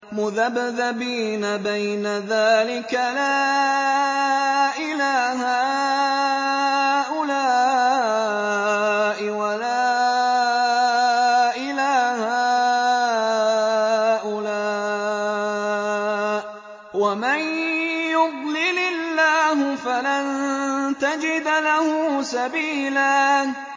مُّذَبْذَبِينَ بَيْنَ ذَٰلِكَ لَا إِلَىٰ هَٰؤُلَاءِ وَلَا إِلَىٰ هَٰؤُلَاءِ ۚ وَمَن يُضْلِلِ اللَّهُ فَلَن تَجِدَ لَهُ سَبِيلًا